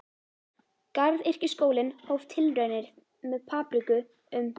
Garðyrkjuskólinn hóf tilraunir með papriku um